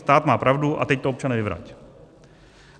Stát má pravdu a teď to, občane, vyvrať.